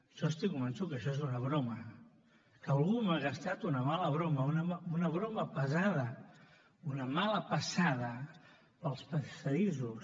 jo estic convençut que això és una broma que algú m’ha gastat una mala broma una broma pesada una mala passada pels passadissos